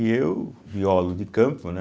E eu, biólogo de campo, né?